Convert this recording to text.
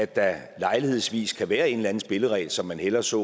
der lejlighedsvis kan være en eller anden spilleregel som man hellere så